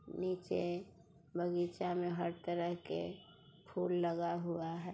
नीचे बगीचा में हर तरह के फूल लगा हुआ है।